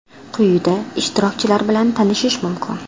Quyida ishtirokchilar bilan tanishish mumkin.